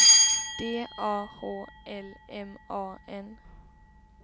D A H L M A N